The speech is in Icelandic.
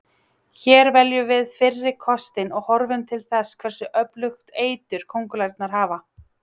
Hér veljum við fyrri kostinn og horfum til þess hversu öflugt eitur köngulærnar hafa.